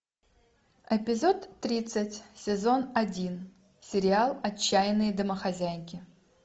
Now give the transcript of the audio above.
эпизод тридцать сезон один сериал отчаянные домохозяйки